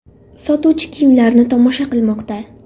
Sotuvchi kiyimlarni tomosha qilmoqda.